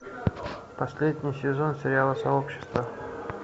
последний сезон сериала сообщество